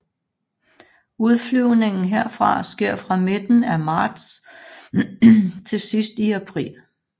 Udflyvningen herfra sker fra midten af marts til sidst i april